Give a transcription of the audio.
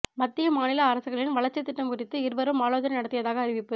மத்திய மாநில அரசுகளின் வளர்ச்சி திட்டம் குறித்து இருவரும் ஆலோசனை நடத்தியதாக அறிவிப்பு